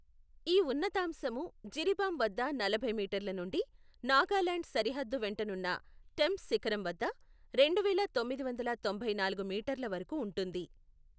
ఈ ఉన్నతాంశము జిరిబామ్ వద్ద నలభై మీటర్ల నుండి, నాగాలాండ్ సరిహద్దు వెంటనున్న టెంప్ శిఖరం వద్ద, రెండువేల తొమ్మిది వందల తొంభై నాలుగు మీటర్ల వరకు ఉంటుంది.